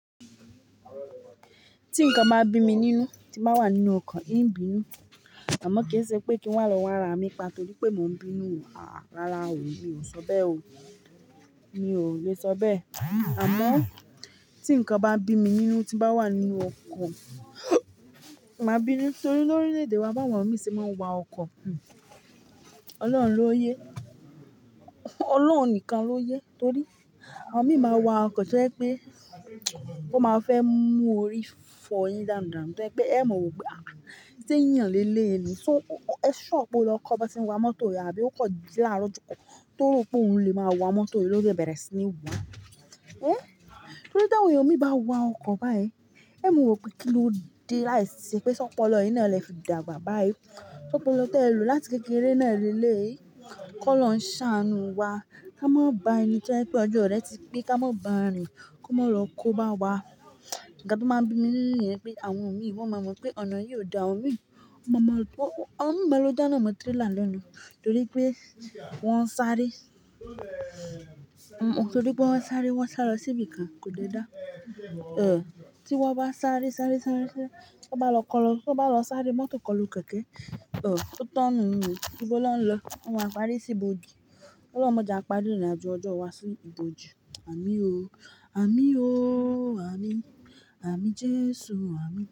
Tí nǹkan bá bí mi nínú, tí màá wà nínú ọkọ̀, ń bí'nu, àmọ́ kì í ṣe pé kí n wà lọ́wọ́ ara mi pa, torí pé mò ń bí'nu rárá o, mi ò sọ bẹ́ẹ̀ o, mi ò lè sọ bẹ́ẹ̀. Àmọ́ tí nǹkan bá bí mi nínú tí bá wà nínú ọkọ̀, màá bí'nu torí lórílẹ̀ èdè wa bá wọn mi ṣe máa ń wa ọkọ̀. Ọlọ́run ló yé. Ọlọ́run nìkan ló yé torí àwọn mi máa wa ọkọ̀ tó ẹ́ pé wọ́n máa fẹ́ mú orí fọyin dànù dànù tó ẹ́ pé ẹ mọ̀ wípé à tí ń yàn lé lé ni. So, ẹ ṣure pe o lọ kọ́ bá ti ń wa mọ́tò rí àbí ó kan ji laaro ojo kan, to ro pé òun lè máa wa mọ́tò lóde bẹ̀rẹ̀ sí ní wá. É, torí dáhùn mi bá wa ọkọ̀ báyìí, ẹ mọ̀ wopé kí ló di láìsí ṣe pé ṣọpọlọ yín ni a lè fi dàgbà báyìí. Ṣọpọlọ tó ẹ̀ lọ láti kékeré náà léleyii? Kọ́ lọ ń ṣàánù wa. Ka ma ba ẹni tí o je pé ọjọ́ rẹ́ ti pé ká ma ba rìn kó má lọ kó bá wa. Ǹkan to maa n bí mi nínú niyẹn pé àwọn mi wọ́n máa mọ̀ pé ọ̀nà yìí ò da, awọ́n mi-- won maa maa pé-- àwọn mi máa lọ dáná mọ tírélà lẹ́nu torí pé wọ́n ń sáré. Torí pé wọ́n ń sáré, wọ́n sá lọ síbi kan kò dé dáa. Ẹ̀, tí wọ́n bá sáré sáré sáré sáré, tí wọ́n bá lọ kọlu, tí wọ́n bá lọ sáré mọ́tò kọlu kẹ̀kẹ́, ẹ̀, ó tán nú o, nìbọ́ lọ́ ń lọ, wọ́n máa parí sí iboji. Ọlọ́run máa jẹ à pári irin ajo ọjọ́ wá sí iboji. Àmín o. Àmín o. Àmín. Àmín Jésù àmín.